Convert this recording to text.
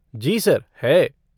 जी sir, है।